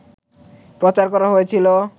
প্রচার করা হয়েছিল